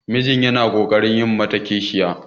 mijin yana ƙoƙarin yi mata kishiyar